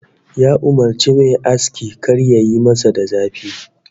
Ya umurci ma'aski kar yayi masa da zafi